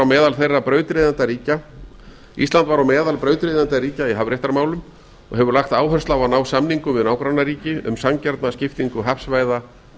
á norðurslóðum ísland var á meðal brautryðjendaríkja í hafréttarmálum og hefur lagt áherslu á að ná samingum við nágrannaríki um sanngjarna skiptingu hafsvæða